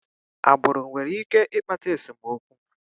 Agbụrụ nwere ike ịkpata esemokwu.